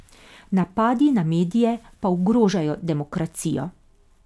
Napadi na medije pa ogrožajo demokracijo.